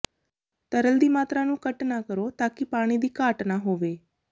ਤਰਲ ਦੀ ਮਾਤਰਾ ਨੂੰ ਕੱਟ ਨਾ ਕਰੋ ਤਾਂ ਕਿ ਪਾਣੀ ਦੀ ਘਾਟ ਨਾ ਹੋਵੇ